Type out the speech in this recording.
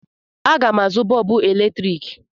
Aga m azụ bọọbụ eletrik.